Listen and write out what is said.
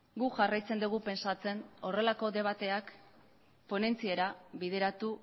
guk jarraitzen dugu pentsatzen horrelako debateak ponentziera bideratu